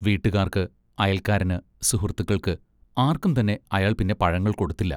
വീട്ടുകാർക്ക്, അയൽക്കാരന്, സുഹൃത്തുക്കൾക്ക്‌, ആർക്കുംതന്നെ അയാൾ പിന്നെ പഴങ്ങൾ കൊടുത്തില്ല.